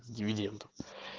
с дивиденда